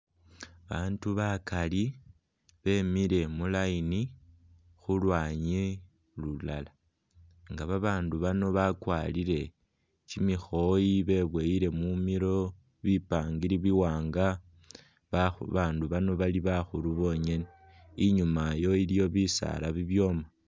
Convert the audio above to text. Babandu bakali bemile mu line khulwanyi lulala nga babandu bano bakwarile kyimikhoyi bebowele mumilo bipangiri bi’wanga , babandu bano bali bakhulu bonyene , inyuma iyo iliyo bisala ibyoma.